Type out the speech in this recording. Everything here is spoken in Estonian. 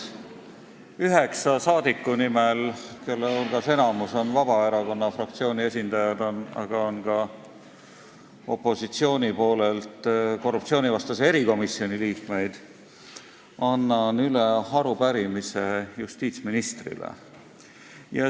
Annan üheksa rahvasaadiku nimel, kelle hulgast enamik on Vabaerakonna fraktsiooni esindajad, aga on ka opositsiooni kuuluvaid korruptsioonivastase erikomisjoni liikmeid, üle arupärimise justiitsministrile.